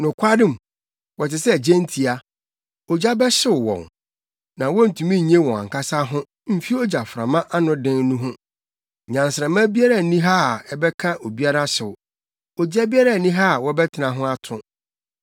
Nokwarem, wɔte sɛ gyentia; ogya bɛhyew wɔn. Na wontumi nnye wɔn ankasa ho mfi ogyaframa anoden no ho. Nnyansramma biara nni ha a ɛbɛka obiara hyew; ogya biara nni ha a wɔbɛtena ho ato.